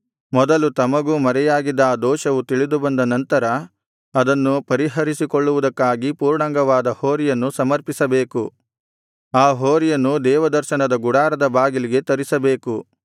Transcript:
ಮೊದಲು ತಮಗೂ ಮರೆಯಾಗಿದ್ದ ಆ ದೋಷವು ತಿಳಿದುಬಂದ ನಂತರ ಅದನ್ನು ಪರಿಹರಿಸಿಕೊಳ್ಳುವುದಕ್ಕಾಗಿ ಪೂರ್ಣಾಂಗವಾದ ಹೋರಿಯನ್ನು ಸಮರ್ಪಿಸಬೇಕು ಆ ಹೋರಿಯನ್ನು ದೇವದರ್ಶನದ ಗುಡಾರದ ಬಾಗಿಲಿಗೆ ತರಿಸಬೇಕು